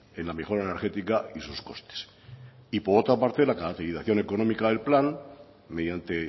en la mejora energética y sus costes y por otra parte la caracterización económica del plan mediante